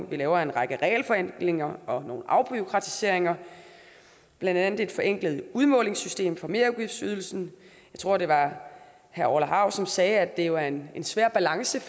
vi laver en række regelforenklinger og noget afbureaukratisering blandt andet et forenklet udmålingssystem for merudgiftsydelsen jeg tror det var herre orla hav som sagde at det jo er en svær balance